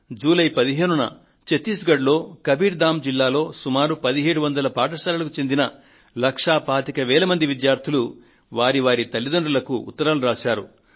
July 15న ఛత్తీస్గఢ్ లో కబీర్ ధామ్ జిల్లాలో సుమారు 1700 పాఠశాలలకు చెందిన లక్షా పాతిక మంది విద్యార్థులు వారి వారి తల్లితండ్రులకు ఉత్తరాలు రాశారు